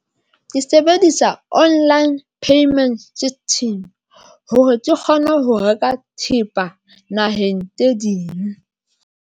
Ke sebedisa online payment system hore ke kgone ho reka thepa naheng tse ding.